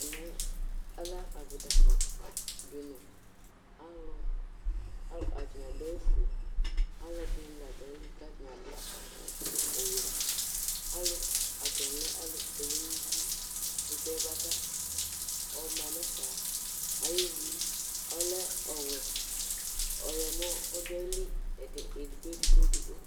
Ɛmɛlɛ avitakpɔ dini, atani adʋ awʋfue, alʋɛdini ladʋ ayili kʋ atani adʋ ɔwɛ Atani lɛ alʋkpɔɛlʋ nʋ uti ɛkʋtɛ bʋakʋ ɔma nʋ efɛ ayʋ ivi ɔlɛ ɔwɛ ɔyɔmɔ ɔdʋ ayili edigbo edigbo edigbo